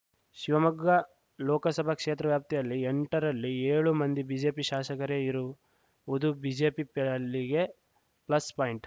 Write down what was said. ಶಿವಮೊಗ್ಗ ಲೋಕಸಭಾ ಕ್ಷೇತ್ರ ವ್ಯಾಪ್ತಿಯಲ್ಲಿ ಎಂಟರಲ್ಲಿ ಏಳು ಮಂದಿ ಬಿಜೆಪಿ ಶಾಸಕರೇ ಇರುವುದು ಬಿಜೆಪಿ ಪಾಲಿಗೆ ಪ್ಲಸ್‌ ಪಾಯಿಂಟ್‌